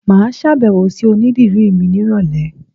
Màá sàbẹ̀wò sí onídìrí mi ní ìrọ̀lẹ̀